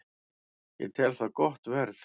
Ég tel það gott verð